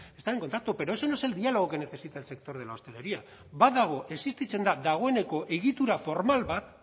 están en contacto pero ese no es el diálogo que necesita el sector de la hostelería badago existitzen da dagoeneko egitura formal bat